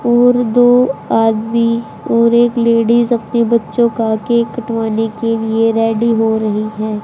और दो आदमी और एक लेडिस अपने बच्चों का केक कटवाने के लिए रेडी हो रही हैं।